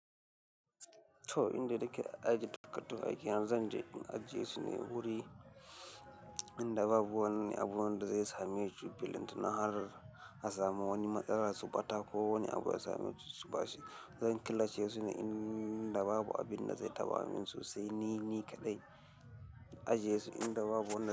Toh, inda ake aje takaddun ake zan je in ajiye su ne wuri inda babu wani abu wanda zai same su, billin tun har a samu wani matsala su ɓata ko wani abu ya same su, su ɓaci. Zan killace su ne inda babu abunda ze taɓa mun su se ni ni kaɗai. Ajiye su inda babu wanda zai.